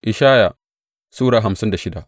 Ishaya Sura hamsin da shida